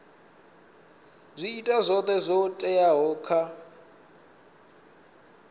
ita zwoṱhe zwo teaho kha